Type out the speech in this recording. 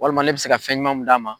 Walima ne bɛ se ka fɛnɲuman mun d'a ma.